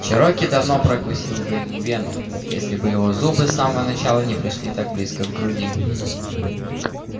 чероки давно прокусил бы ему вену если бы его зубы с самого начала не пришли так близко к груди